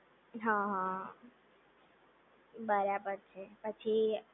હા હા બરાબર છે પછી